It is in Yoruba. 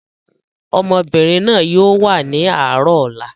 Ọmọbìnrin náà yìí ó wà ní àárọ̀ ọ̀la.